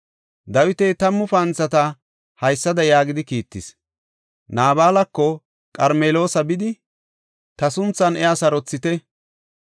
Dawiti tammu panthata haysada yaagidi kiittis; “Naabalako Qarmeloosa bidi, ta sunthan iya sarothite.